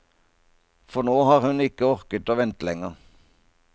For nå har hun ikke orket å vente lenger.